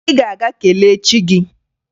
Ị ga-aga kelee chi gị!